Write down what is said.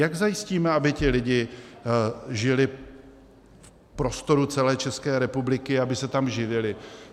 Jak zajistíme, aby ti lidé žili v prostoru celé České republiky, aby se tam živili?